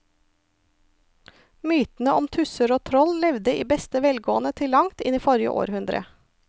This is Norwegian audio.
Mytene om tusser og troll levde i beste velgående til langt inn i forrige århundre.